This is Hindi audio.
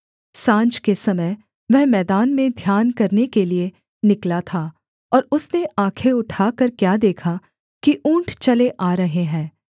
साँझ के समय वह मैदान में ध्यान करने के लिये निकला था और उसने आँखें उठाकर क्या देखा कि ऊँट चले आ रहे हैं